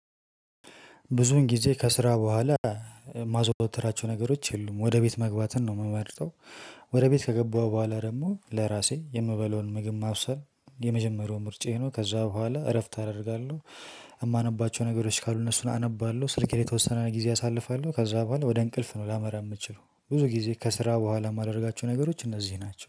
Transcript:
ብዙን ግዜ ከስራ በኋላ የማዘወትራቸው ነገሮች የሉም ወደ ቤት መግባትን ነው ምመርጠው። ወደ ቤት ከገባሁ በኋላ ደግሞ ለራሴ የምበለውን ምግብ ማብሰል የመጀመሪያው ምርጫዬ ነው ከዛ በኋላ እረፍት አደርጋለሁ። የማነባቸው ነገሮች ካሉ እነሱን አነባለው። ስልኬ ላይ የተወሰነ ግዜ አሳልፋለው። ከዛ በኃላ ወደ እንቅልፍ ነው ላመራ የምችላው። ብዙ ግዜ ከስራ በኃላ የማደርጋቸው ነገሮች እነዚ ናቸው።